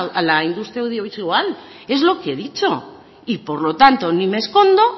a la industria audiovisual es lo que he dicho y por lo tanto ni me escondo